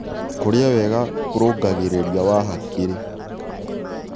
Kũrĩa wega kũrũngagĩrĩrĩa wa hakĩrĩ